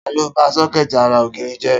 Ta ló ba sọ́kẹ̀tì ara ògiri jẹ?